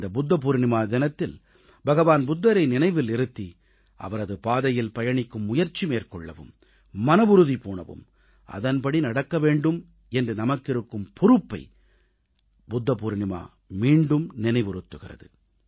இந்த புத்த பவுர்ணமி தினத்தில் பகவான் புத்தரை நினைவில் இருத்தி அவரது பாதையில் பயணிக்கும் முயற்சி மேற்கொள்ளவும் மனவுறுதி பூணவும் அதன்படி நடக்க வேண்டும் என்று நமக்கிருக்கும் பொறுப்பை புத்த பவுர்ணமி மீண்டும் நினைவுறுத்துகிறது